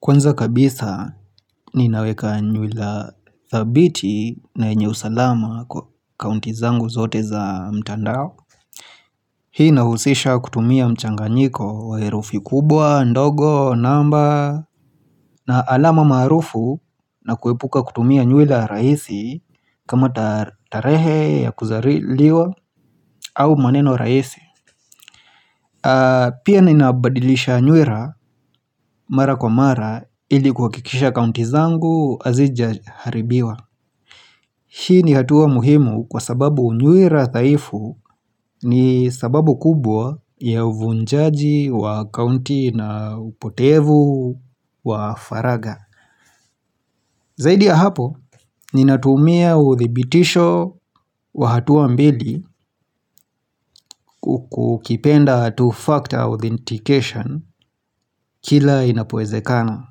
Kwanza kabisa ninaweka nywila thabiti na yenye usalama kwa akaunti zangu zote za mtandao. Hii nahusisha kutumia mchanganiko wa herufi kubwa, ndogo, namba na alama maarufu na kuepuka kutumia nywila rahisi kama tarehe ya kuzaliwa au maneno rahisi. Pia ninabadilisha nywila mara kwa mara ili kuhakikisha akaunti zangu hazijaharibiwa. Hii ni hatua muhimu kwa sababu nywila dhaifu ni sababu kubwa ya uvunjaji wa akaunti na upotevu wa faragha. Zaidi ya hapo, ninatumia uthibitisho wa hatua mbili ukipenda two-factor authentication kila inapowezekana.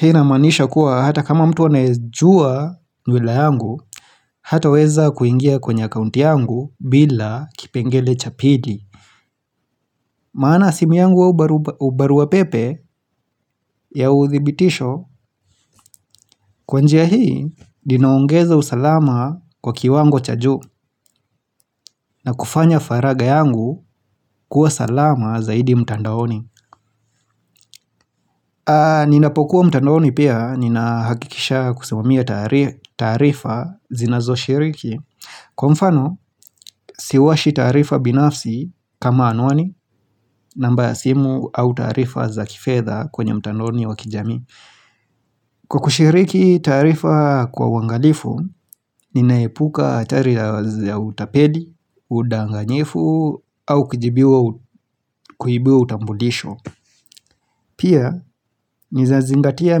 Hii inamaanisha kuwa hata kama mtu anaijua nywila yangu, hataweza kuingia kwenye akaunti yangu bila kipengele cha pili. Maana simu yangu au barua pepe ya uthibitisho, kwa njia hii ninaongeza usalama kwa kiwango cha juu na kufanya faragha yangu kuwa salama zaidi mtandaoni. Ninapokuwa mtandoni pia ninahakikisha kusomea taarifa zinazoshiriki. Kwa mfano siwashi taarifa binafsi kama anwani namba ya simu au taarifa za kifedha kwenye mtandaoni wa kijamii. Kwa kushiriki taarifa kwa uangalifu ninaepuka hatari ya utapeli, udanganyifu au kuibiwa utambulisho. Pia nizanzingatia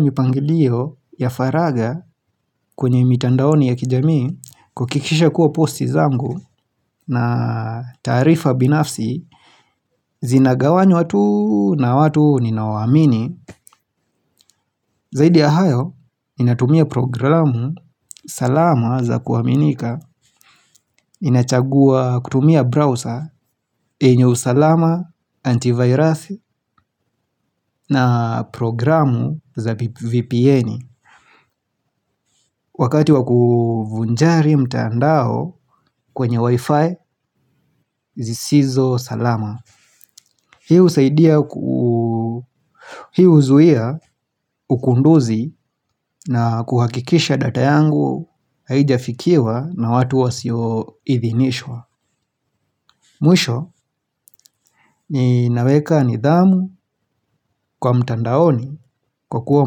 mipangilio ya faragha kwenye mitandaoni ya kijamii kuhakikisha kuwa posti zangu na taarifa binafsi zinagawanywa tu na watu ninao wa amini. Zaidi ya hayo ninatumia programu salama za kuaminika ninachagua kutumia browser yenye usalama antivirusi na programu za vpn. Wakati wa kuvunjari mtandao kwenye wi-fi zisizo salama. Hii husaidia ku hii huzuia ukunduzi na kuhakikisha data yangu haijafikiwa na watu wasioidhinishwa. Mwisho ninaweka nidhamu kwa mtandaoni kwa kuwa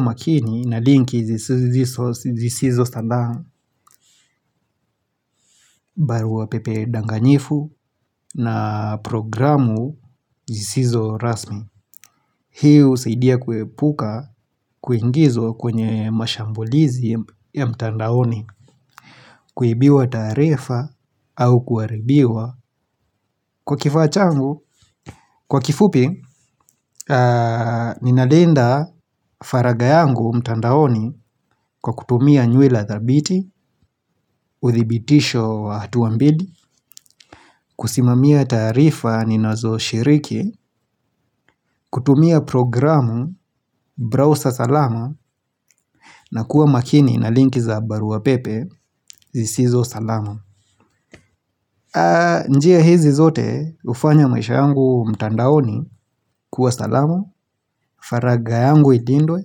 makini na linki zisizo salam barua pepe danganyifu na programu zisizo rasmi. Hii husaidia kuepuka kuingizwa kwenye mashambulizi ya mtandaoni kuibiwa taarifa au kuharibiwa. Kwa kifaa changu, kwa kifupi, ninalinda faragha yangu mtandaoni kwa kutumia nywila thabiti, uthibitisho wa hatua mbili, kusimamia tarifa ninazo shiriki, kutumia programu, brauza salama, na kuwa makini na linki za baruapepe, zisizo salama. Njia hizi zote hufanya maisha yangu mtandaoni kuwa salama, faragha yangu ilindwe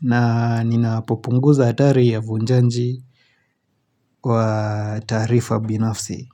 na ninapopunguza hatari ya vunjanji kwa taarifa binafsi.